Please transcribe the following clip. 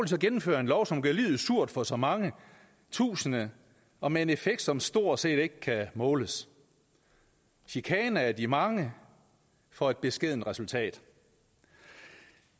så gennemføre en lov som gør livet surt for så mange tusinde og med en effekt som stort set ikke kan måles chikane af de mange for et beskedent resultat